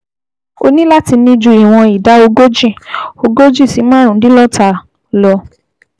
O ní láti ní ju ìwọ̀n ìdá ogójì ogójì si márùndínláàádọ́ta lọ